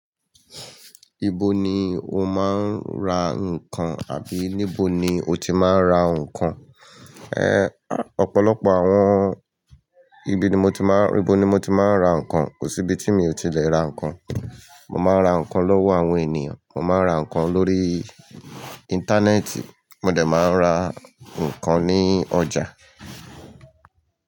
Ibo ni o máa ń ra nǹkan àbí níbo ni o ti máa ń ra nǹkan? Ẹ́, ọ̀pọ̀lọpọ̀ àwọn-- ibi ni mo ti máa ń, ibo ni mo ti máa ń ra nǹkan. Kò sí ibi tí mi ò ti lè ra nǹkan. Mo máa ń ra nǹkan lọ́wọ́ àwọn ènìyàn, mo máa ń ra nǹkan lórí íńtánẹ́ẹ̀tì, mo dẹ̀ máa ń ra nǹkan ní ọjà.